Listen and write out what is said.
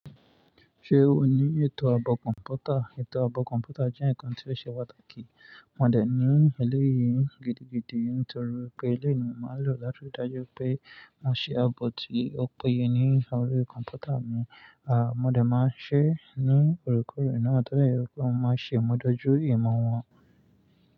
Ṣé o ní ètò àbọ̀ kọ̀mpútà? Ètò àbọ̀ kọ̀mpútà jẹ́ ǹkan tí ó ṣe pàtàkì. Mo dẹ̀ ní eleyìí gidigidi nítorí pé eleyii ni máa ń lò láti dájú pé mo ṣe àbo tí ó péye ní órí kọ̀mpútà mi. À, mo dẹ̀ máa ń ṣe ní òorekore ná tode je pe mo maá ṣe mo dojú ìmo wọn.